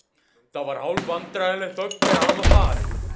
Það var hálfvandræðaleg þögn þegar hann var farinn.